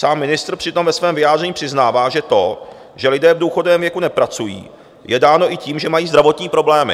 Sám ministr přitom ve svém vyjádření přiznává, že to, že lidé v důchodovém věku nepracují, je dáno i tím, že mají zdravotní problémy.